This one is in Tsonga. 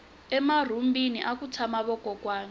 emarhumbini aku tshama vakokwani